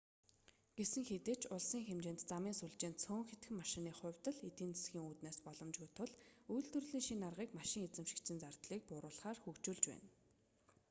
гэсэн хэдий ч улсын хэмжээнд замын сүлжээ нь цөөн хэдхэн машины хувьд л эдийн засгийн үүднээс боломжгүй тул үйлдвэрлэлийн шинэ аргыг машин эзэмшигчийн зардлыг бууруулахаар хөгжүүлж байна